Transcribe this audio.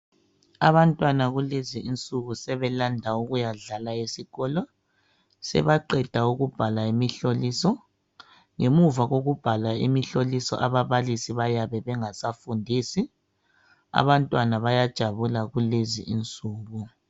Abantwana kulezi insuku sebelanda ukuyadlala esikolo sebaqeda ukubhala imihloliso ngemuva kokubhala imihlolisa ababalisi bayabe bengasafundisi abantwana bayajabula kulezi insuku